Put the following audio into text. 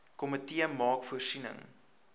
komitee maak voorsiening